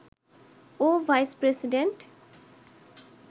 ও vice president